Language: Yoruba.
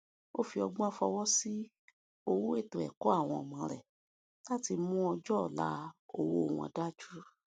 ó fi ọgbọn fowó sí owó ètò ẹkọ àwọn ọmọ rẹ láti fi mú ọjọ ọla owó wọn dájú